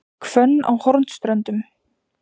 Hvönn á Hornströndum